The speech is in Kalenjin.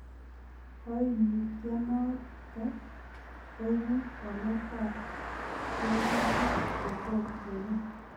Koimutioniton koibu waletab tekutik chetom kenai.